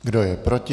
Kdo je proti?